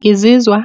Ngizizwa